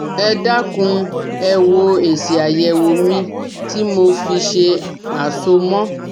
Ẹ dákun ẹ wo èsì àyẹ̀wò mi tí mo fi ṣe àsomọ́